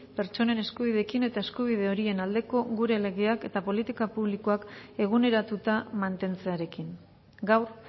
pertsonen eskubideekin eta eskubide horien aldeko gure legeak eta politika publikoak eguneratuta mantentzearekin gaur